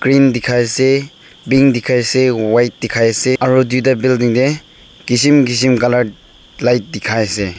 pink dikhi se pink dikhai de white dikhai se aru dui ta building teh kism kism colour light dikhai se.